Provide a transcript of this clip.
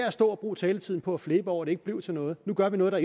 at stå og bruge taletiden på at flæbe over at det ikke blev til noget nu gør vi noget der